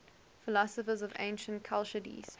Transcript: philosophers of ancient chalcidice